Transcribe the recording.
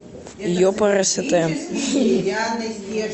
епрст